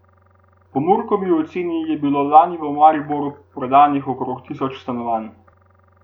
Po Murkovi oceni je bilo lani v Mariboru prodanih okoli tisoč stanovanj.